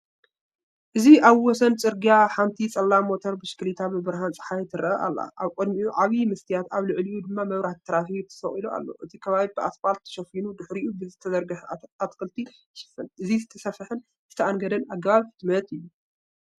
እዚ ኣብ ወሰን ጽርግያ፡ ሓንቲ ጸላም ሞተር ብሽክለታ፡ ብብርሃን ጸሓይ ትረአ ኣላ። ኣብ ቅድሚኡ ዓቢ መስትያት ኣብ ልዕሊኡ ድማ መብራህቲ ትራፊክ ተሰቒሉ ኣሎ። እቲ ከባቢ ብኣስፓልት ተሸፊኑ ድሕሪኡ ብዝተዘርግሐ ኣትክልቲ ይሽፈን። እዚ ዝተሰፍሐን ዝተኣንገደን ኣገባብ ሕትመት እዩ።